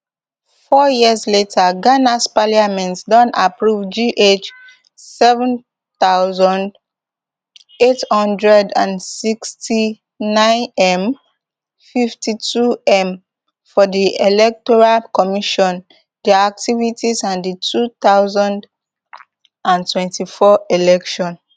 four years later ghanas parliament don approve gh seven thousand, eight hundred and sixty-ninem fifty-twom for di electoral commission dia activities and di two thousand and twenty-four elections